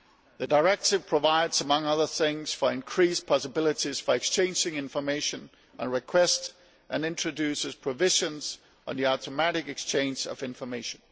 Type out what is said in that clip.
The Directive provides, among other things, for increased possibilities for exchanging information and requests and introduces provisions on the automatic exchange of information.